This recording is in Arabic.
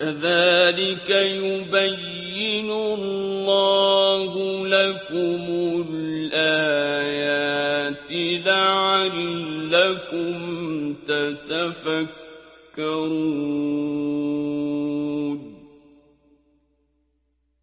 كَذَٰلِكَ يُبَيِّنُ اللَّهُ لَكُمُ الْآيَاتِ لَعَلَّكُمْ تَتَفَكَّرُونَ